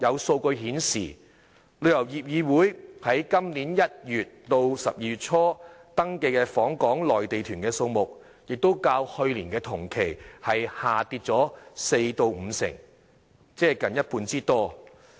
數據顯示，旅遊業議會在今年1月至12月初所登記的訪港內地團數目較去年同期下跌四成至五成，即近一半之多。